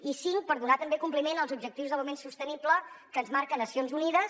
i cinc per donar també compliment als objectius d’aliment sostenible que ens marca nacions unides